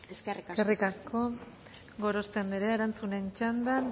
eskerrik asko eskerrik asko gorospe andrea erantzunen txandan